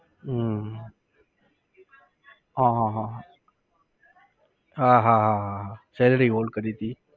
હમ હા હા હા હા. હા હા હા હા હા salary hold કરી હતી